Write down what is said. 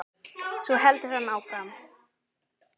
Svo heldur hann áfram